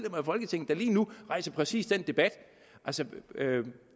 af folketinget der lige nu rejser præcis den debat altså